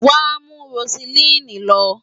Wàá mú Roseline lọ!